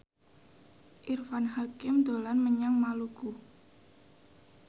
Irfan Hakim dolan menyang Maluku